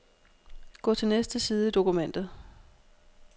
Gå til næste side i dokumentet.